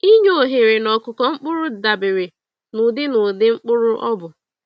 Inye oghere n'ọkụkụ mkpụrụ dabere na ụdị na ụdị mkpụrụ ọbụ.